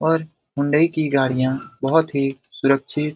और हुंडई की गाड़ियां बोहोत ही सुरक्षित --